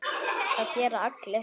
Það gera allir.